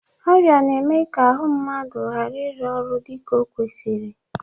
Ọrịa na-eme ka ahụ mmadụ gara ịru ọrụ dịka o kwesiri.